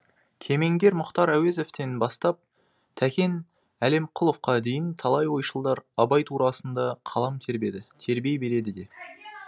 кемеңгер мұхтар әуезовтен бастап тәкен әлімқұловқа дейін талай ойшылдар абай турасында қалам тербеді тербей береді де